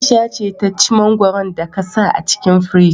Aisha ce ta ci mangwaron da ka sa a cikin firji